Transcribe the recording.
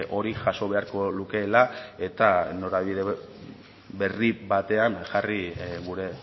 hori jaso beharko lukeela eta norabide berri batean jarri gure